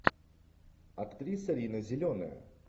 актриса рина зеленая